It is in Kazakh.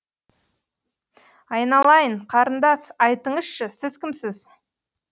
айналайын қарындас айтыңызшы сіз кімсіз